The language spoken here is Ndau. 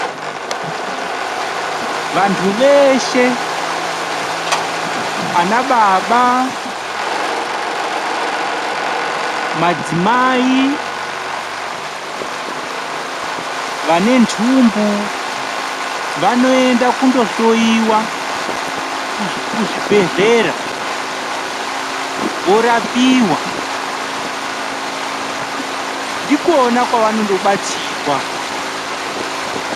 Vantu veshe ana baba, madzimai vane ntumbu vanoenda kundo hloiwa kuzvibhedhlera vorapiwa ndikona kwavando batsirwa.